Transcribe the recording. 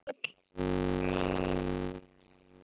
Egill minn.